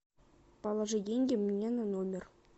положи деньги мне на номер